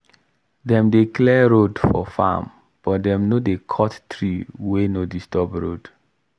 dem dey clear road for farm but dem no dey cut tree wey no disturb road.